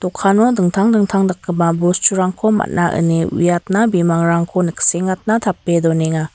dokano dingtang dingtang dakgipa bosturangko man·a ine uiatna bimangrangko niksengatna tape donenga.